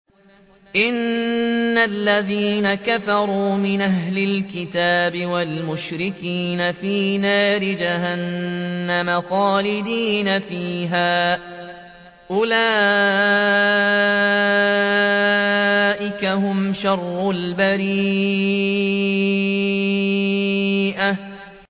إِنَّ الَّذِينَ كَفَرُوا مِنْ أَهْلِ الْكِتَابِ وَالْمُشْرِكِينَ فِي نَارِ جَهَنَّمَ خَالِدِينَ فِيهَا ۚ أُولَٰئِكَ هُمْ شَرُّ الْبَرِيَّةِ